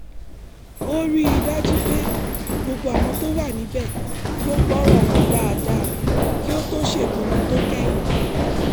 ó rí i dájú pé gbogbo àwọn tó wà níbẹ̀ ló gbọ́rọ̀ wọn dáadáa kí ó tó ṣèpinnu tó kẹ́yìn